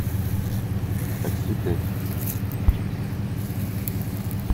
такси пять